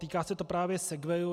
Týká se to právě segwayů.